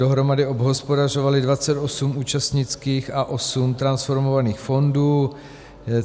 Dohromady obhospodařovaly 28 účastnických a 8 transformovaných fondů.